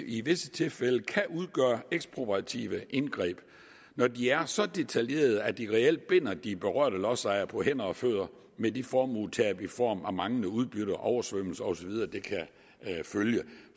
i visse tilfælde kan udgøre ekspropriative indgreb når de er så detaljerede at de reelt binder de berørte lodsejere på hænder og fødder med de formuetab i form af manglende udbytter oversvømmelser osv